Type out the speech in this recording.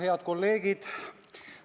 Head kolleegid!